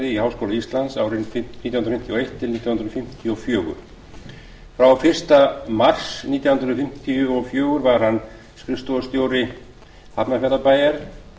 í háskóla íslands árin nítján hundruð fimmtíu og eitt til nítján hundruð fimmtíu og fjórir frá fyrsta mars nítján hundruð fimmtíu og fjögur var hann skrifstofustjóri hafnarfjarðarbæjar